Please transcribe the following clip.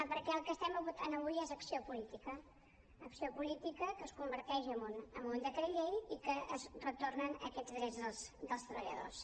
perquè el que estem votant avui és acció política acció política que es converteix en un decret llei i es retornen aquests drets dels treballadors